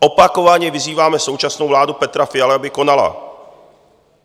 Opakovaně vyzýváme současnou vládu Petra Fialy, aby konala.